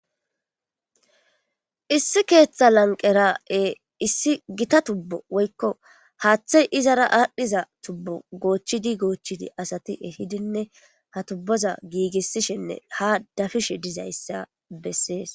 Issi keeththa lanqera'e issi gita tubbo woykko haaththey izara aadhdhiza tubbo goochchidi goochchidi asati ehidinne ha tubboza giigissishenne ha dafishe dizayssa bessees